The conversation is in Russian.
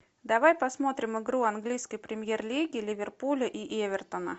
давай посмотрим игру английской премьер лиги ливерпуля и эвертона